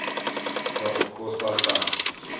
sa okosa tans